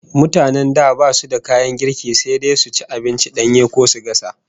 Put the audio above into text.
Mutanen da basu da kayan girki, sai dai su ci abinci danye ko su gasa